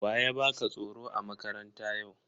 Wa ya baka tsoro a makaranta yau?